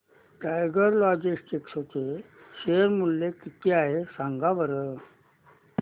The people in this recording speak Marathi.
टायगर लॉजिस्टिक्स चे शेअर मूल्य किती आहे सांगा बरं